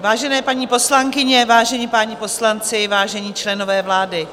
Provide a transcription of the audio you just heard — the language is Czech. Vážené paní poslankyně, vážení páni poslanci, vážení členové vlády,